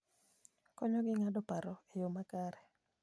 Konyogi ng'ado paro e yo makare.